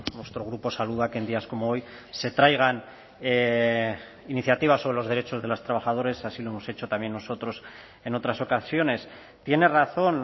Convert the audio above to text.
nuestro grupo saluda que en días como hoy se traigan iniciativas sobre los derechos de los trabajadores así lo hemos hecho también nosotros en otras ocasiones tiene razón